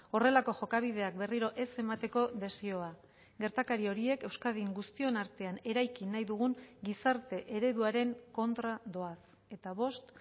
horrelako jokabideak berriro ez emateko desioa gertakari horiek euskadin guztion artean eraiki nahi dugun gizarte ereduaren kontra doaz eta bost